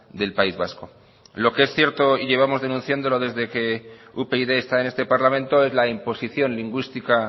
del país vasco lo que es cierto y llevamos denunciándolo desde que upyd está en este parlamento es la imposición lingüística